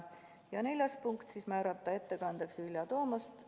Ja neljas punkt: määrata ettekandjaks Vilja Toomast.